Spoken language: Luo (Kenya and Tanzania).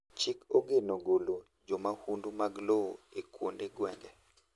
chik ogeno golo jo mahundu mag lowo e kuonde gwenge